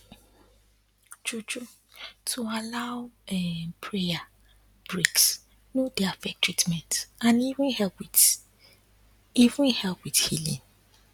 true true to allow um prayer breaks no dey affect treatment and e even help wit even help wit healin